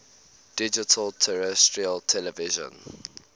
digital terrestrial television